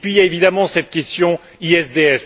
Puis, il y a évidemment cette question ISDS.